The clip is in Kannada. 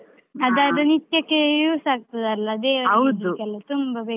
ನಿತ್ಯಕ್ಕೇ use ಆಗ್ತದಲ್ಲ, ಇಡ್ಲಿಕೆಲ್ಲಾ ತುಂಬ .